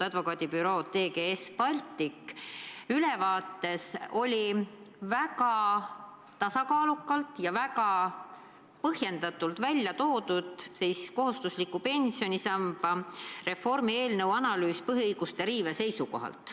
Advokaadibüroo TGS Baltic ülevaates oli väga tasakaalukalt ja väga põhjendatult välja toodud kohustusliku pensionisamba reformi käsitleva eelnõu analüüs põhiõiguste riive seisukohalt.